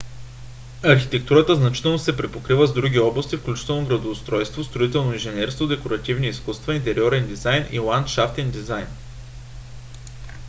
архитектурата значително се препокрива с други области включително градоустройство строително инженерство декоративни изкуства интериорен дизайн и ландшафтен дизайн